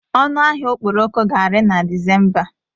Ọnụ ahịa okporoko ga-ari na Disemba.